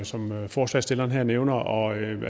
som forslagsstilleren her nævner og